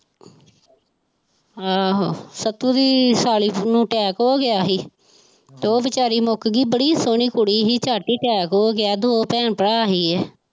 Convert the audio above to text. ਆਹੋ ਸੱਤੂ ਦੀ ਸਾਲੀ ਨੂੰ attack ਹੋ ਗਿਆ ਸੀ ਤੇ ਉਹ ਬੇਚਾਰੀ ਮੁੱਕ ਗਈ ਬੜੀ ਸੋਹਣੀ ਕੁੜੀ ਸੀ ਝੱਟ ਹੀ attack ਹੋ ਗਿਆ ਦੋ ਭੈਣ ਭਰਾ ਸੀਗੇ।